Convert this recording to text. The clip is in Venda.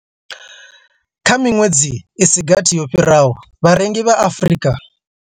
Kha miṅwedzi i si gathi yo fhiraho, vharengi vha Afrika.